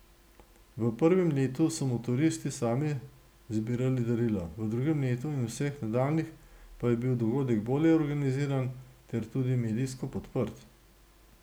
V prvem letu so motoristi sami zbirali darila, v drugem letu in vseh nadaljnjih pa je bil dogodek bolje organiziran ter tudi medijsko podprt.